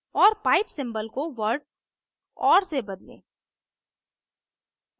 और pipe symbol को word or से बदलें